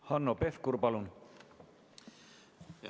Hanno Pevkur, palun!